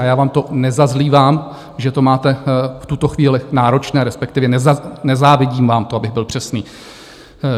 A já vám to nezazlívám, že to máte v tuto chvíli náročné, respektive nezávidím vám to, abych byl přesný.